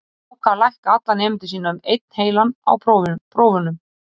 Hann ákvað að lækka alla nemendur sína um einn heilan á prófunum.